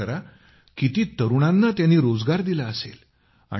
विचार करा किती तरुणांना त्यांनी रोजगार दिला असेल